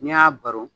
N'i y'a baro